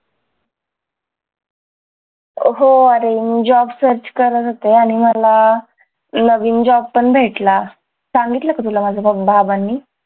हो आरे job search करत होते आणि मला नवीन job पण भेटला सांगितलं का तुला माझ्या बाबांनी